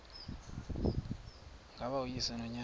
ngaba uyise nonyana